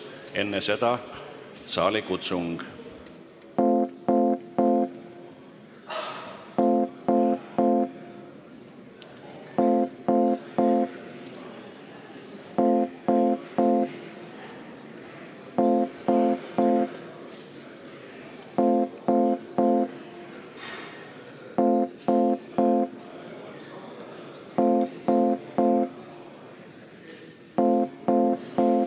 Enne seda on saalikutsung.